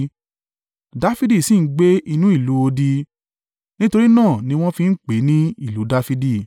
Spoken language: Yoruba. Dafidi sì ń gbé inú ìlú odi, nítorí náà ni wọ́n fi ń pè é ni ìlú Dafidi.